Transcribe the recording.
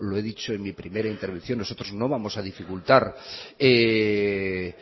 lo he dicho en mi primera intervención nosotros no vamos a dificultar que